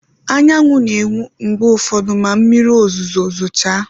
Anyanwụ na-enwu mgbe ụfọdụ ma mmiri ozuzo zochaa